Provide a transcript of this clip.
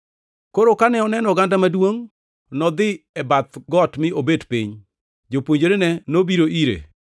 Koro kane oneno oganda maduongʼ, nodhi e bath got mi obet piny. Jopuonjrene nobiro ire,